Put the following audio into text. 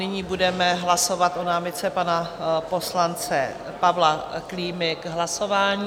Nyní budeme hlasovat o námitce pana poslance Pavla Klímy k hlasování.